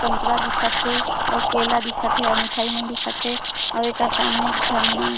संतरा दिखत हे अऊ केला दिखत हे और मिठाई मन दिखत हे अऊ एकर सामने एक झन--